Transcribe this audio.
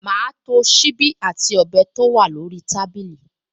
Màá to ṣíbí àti ọ̀bẹ tó wà lórí tábìlì